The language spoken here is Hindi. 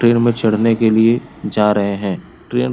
ट्रेन में चढ़ने के लिए जा रहें हैं। ट्रेन --